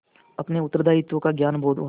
अपने उत्तरदायित्व का ज्ञान बहुधा